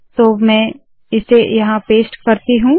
तो मैं इसे यहाँ पेस्ट करती हूँ